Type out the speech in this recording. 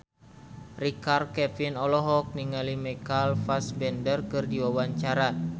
Richard Kevin olohok ningali Michael Fassbender keur diwawancara